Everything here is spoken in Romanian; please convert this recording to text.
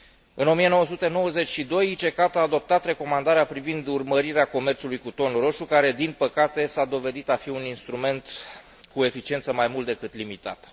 În 1992, ICCAT a adoptat recomandarea privind urmărirea comerțului cu ton roșu, care, din păcate, s a dovedit a fi un instrument cu eficiență mai mult decât limitată.